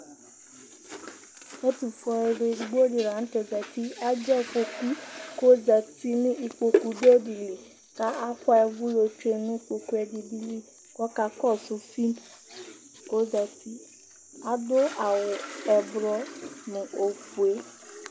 Ɛtʋfue ɔlʋ edigbo dila zati, adʋ afɔkʋ kʋ ɔzati nʋ ikpokʋ dʋ ɛdili kʋ afʋa ʋvʋ tsue nʋ ikpokʋ ɛdiibi li kʋ ɔkakɔsʋ fim kʋ ɔzati Adʋ awʋ ɔblɔ nʋ ofue